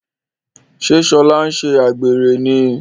ṣe Shola nṣe àgbèrè ní?